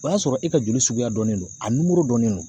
O y'a sɔrɔ e ka joli suguya dɔnnen no, a nimoro dɔnnen no